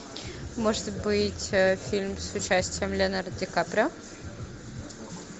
может быть фильм с участием леонардо ди каприо